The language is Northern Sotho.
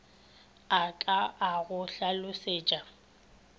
a ka a go hlalosetša